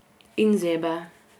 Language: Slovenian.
In zebe.